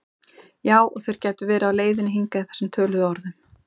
Já og þeir gætu verið á leiðinni hingað í þessum töluðu orðum